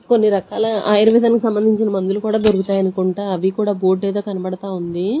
కొన్ని రకాల ఆయుర్వేదానికి సంబంధించిన మందులు కూడా దొరుకుతాయి అనుకుంటా అవి కూడా బోర్డ్ ఏదో కనబడతా ఉంది.